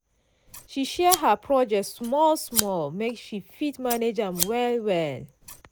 she share her project small-small make she fit manage am well-well.